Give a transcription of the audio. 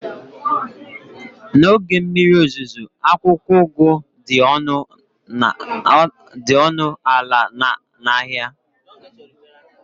n'oge mmiri ozuzo, akwụkwọ ugu dị ọnụ ala na ahịa